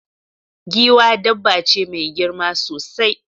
Giwa dabba ce mai girma sosai